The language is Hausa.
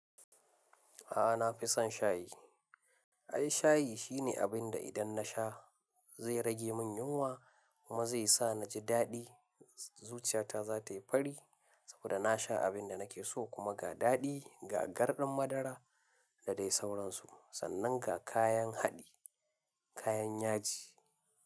A'a, na fi son shayi. Ai shayi shine abinda idan nasha zai rage min yunwa kuma zai sa naji daɗi. Zuciyata za ta yi fari saboda na sha abinda nake so kuma ga daɗi, ga garɗan madara da dai sauransu sannan ga kayan haɗi, kayan yaji.